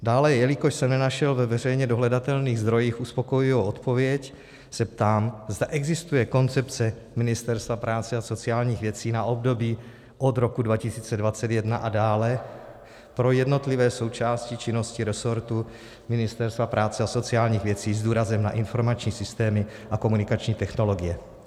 Dále, jelikož jsem nenašel ve veřejně dohledatelných zdrojích uspokojivou odpověď, ptám se, zda existuje koncepce Ministerstva práce a sociálních věcí na období od roku 2021 a dále pro jednotlivé součásti činnosti resortu Ministerstva práce a sociálních věcí s důrazem na informační systémy a komunikační technologie.